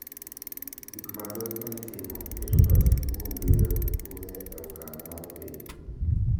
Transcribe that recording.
Gik mathoth ma itimo keto pachgi kuom gero kuwe e okang’ ma piny,